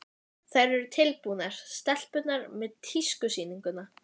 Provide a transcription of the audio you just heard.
Þær eru tilbúnar, stelpurnar, með tískusýninguna.